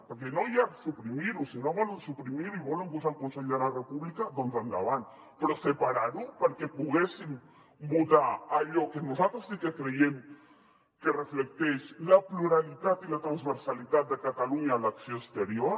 perquè ja no és suprimir ho si no volen suprimir ho i hi volen posar el consell per la república doncs endavant però separar ho perquè poguéssim votar allò que nosaltres sí que creiem que reflecteix la pluralitat i la transversalitat de catalunya en l’acció exterior